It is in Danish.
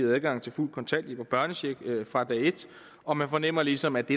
adgang til fuld kontanthjælp og børnecheck fra dag et og man fornemmer ligesom at det